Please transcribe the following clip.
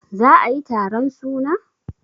za a yi taron suna?